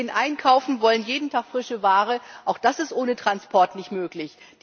Wir gehen einkaufen, wollen jeden Tag frische Ware, auch das ist ohne Transport nicht möglich!